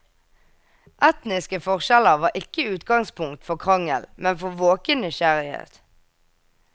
Etniske forskjeller var ikke utgangspunkt for krangel, men for våken nysgjerrighet.